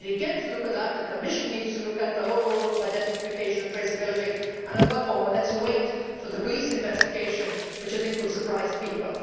We need to look at that issue. The Commission needs to look at the whole role of identification and traceability, and above all let us wait for the police investigation, which I think will surprise people.